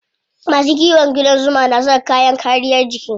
Masu kiwon ƙudan zuma na saka kayan kariyar jiki.